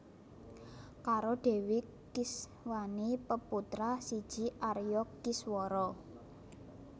Karo Dèwi Kiswani peputra siji Arya Kiswara